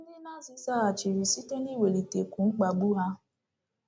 Ndị Nazi zaghachiri site n’iwelitekwu mkpagbu ha.